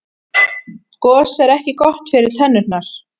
gos er ekki gott fyrir tennurnar